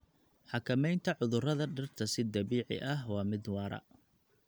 Xakamaynta cudurrada dhirta si dabiici ah waa mid waara.